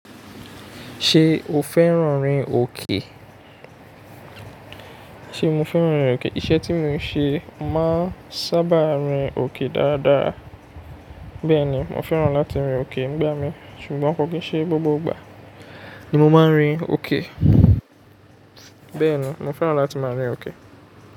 Tí mo fẹ́ràn rẹ̀, iṣẹ́ tí mo ńṣe máa n sábà rìn òkè dáradára bẹ́ẹ̀ni mofẹ́ràn láti rìn òkè nígbà mi, ṣùgbọ́n kò kìn ṣe gbogbo ìgbà ni mo má n rìn.